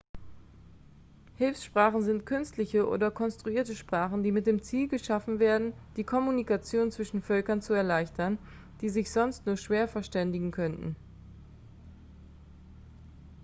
hilfssprachen sind künstliche oder konstruierte sprachen die mit dem ziel geschaffen werden die kommunikation zwischen völkern zu erleichtern die sich sonst nur schwer verständigen könnten